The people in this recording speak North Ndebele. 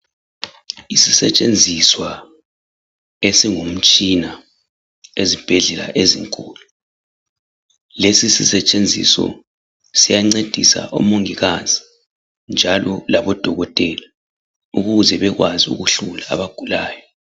Isisetshenziswa esingumtshina ezibhedlela ezinkulu. Lesi sisetshenziso siyandedisa omongikazi njalo labo dokotela ukuze bekwazi ukuhlola abagulayo